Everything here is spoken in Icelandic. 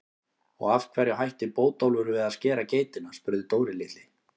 Og af hverju hætti Bótólfur við að skera geitina? spurði Dóri litli.